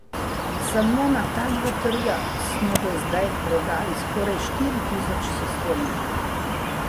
Samo na ta dva trga smo do zdaj prodali skoraj štiri tisoč sistemov.